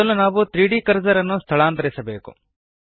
ಮೊದಲು ನಾವು 3ದ್ ಕರ್ಸರ್ ನ್ನು ಸ್ಥಳಾಂತರಿಸಬೇಕು